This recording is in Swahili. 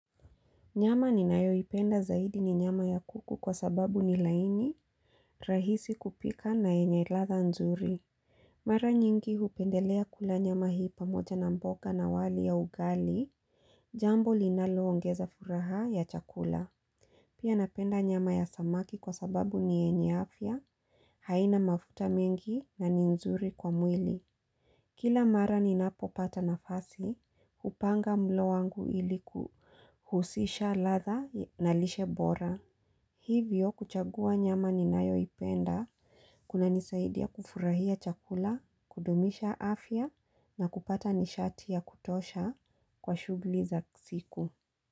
Nyama ninayoipenda zaidi ni nyama ya kuku kwa sababu ni laini, rahisi kupika na yenye ladha nzuri. Mara nyingi hupendelea kula nyama hii pamoja na mboga na wali ya ugali, jambo linaloongeza furaha ya chakula. Pia napenda nyama ya samaki kwa sababu ni yenye afya, haina mafuta mengi na ni nzuri kwa mwili. Kila mara ninapopata nafasi, hupanga mlo wangu ili kuhusisha ladha na lishe bora. Hivyo kuchagua nyama ninayoipenda, kunanisaidia kufurahia chakula, kudumisha afya na kupata nishati ya kutosha kwa shughuli za siku.